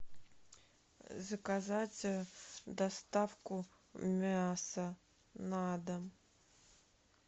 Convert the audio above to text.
заказать доставку мяса на дом